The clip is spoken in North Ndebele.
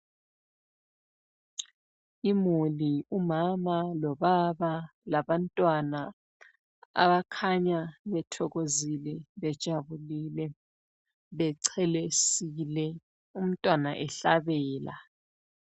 Imuli: ubaba lomama labantwana abakhanya bethokozile, bejabulile, bechelesile umntwana ehlabela.